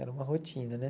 Era uma rotina, né?